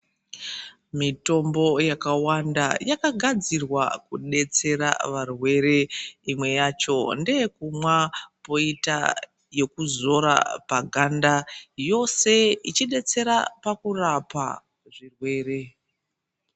Mitombo yakawanda yakagadzirwa kudetsera varwere .Imwe yacho ndeyekumwa ,koita yekuzora paganda, yose ichidetsera pakurapa zvirwere.